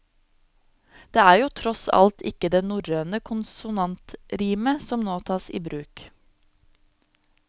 Det er jo tross alt ikke det norrøne konsonantrimet som nå tas i bruk.